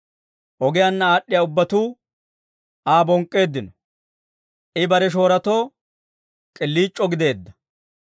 Ogiyaanna aad'd'iyaa ubbatuu Aa bonk'k'eeddino; I bare shoorotoo k'iliic'oo gideedda.